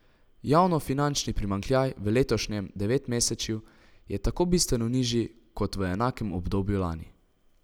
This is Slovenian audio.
Javnofinančni primanjkljaj v letošnjem devetmesečju je tako bistveno nižji kot v enakem obdobju lani.